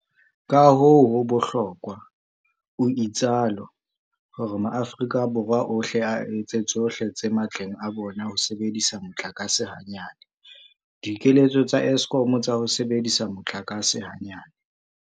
Kahoo ho bohlokwa, o itsalo, hore maAforika Borwa ohle a etse tsohle tse matleng a bona ho sebedisa motlakase hanyane. Dikeletso tsa Eskom tsa ho sebedisa motlakase hanyane.